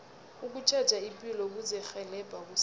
ukutjheja ipilo kuzirhelebha kusasa